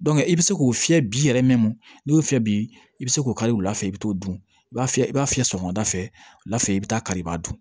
i bɛ se k'o fiyɛ bi yɛrɛ n'i y'o fiyɛ bi i bɛ se k'o kari wula fɛ i bɛ t'o dun i b'a fiyɛ i b'a fiyɛ sɔgɔmada fɛ wula fɛ i bɛ taa kari i b'a dun